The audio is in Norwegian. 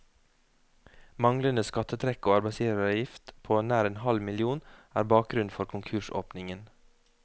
Manglende skattetrekk og arbeidsgiveravgift på nær en halv million er bakgrunnen for konkursåpningen.